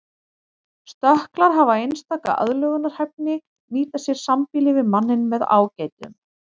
Stökklar hafa einstaka aðlögunarhæfni nýta sér sambýli við manninn með ágætum.